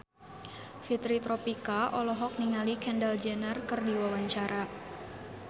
Fitri Tropika olohok ningali Kendall Jenner keur diwawancara